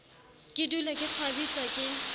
ke dule ke kgwabitlwa ke